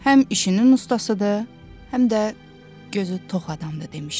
Həm işinin ustasıdır, həm də gözü tox adamdır, demişdi.